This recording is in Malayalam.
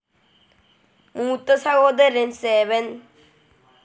മൂത്ത സഹോദരൻ സേ വെൻ.